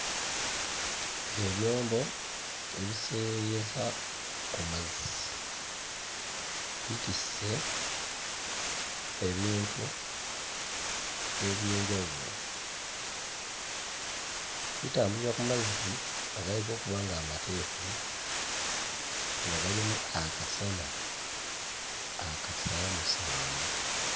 Ebyombo ebiseeyeeyeza ku mazzi, bitisse ebintu eby'enjawulo, bitambulira ku mazzi agalabika okuba nga mateefu nga galimu akasana akasaamusaamu.